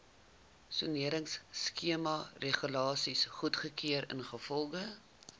soneringskemaregulasies goedgekeur ingevolge